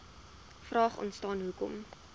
vraag ontstaan hoekom